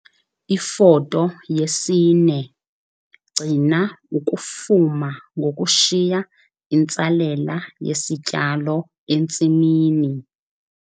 Ifoto 4- Gcina ukufuma ngokushiya intsalela yesityalo entsimini.